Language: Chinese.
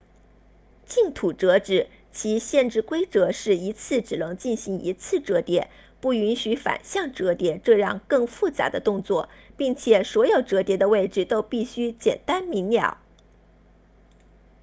净土折纸其限制规则是一次只能进行一次折叠不允许反向折叠这样更复杂的动作并且所有折叠的位置都必须简单明了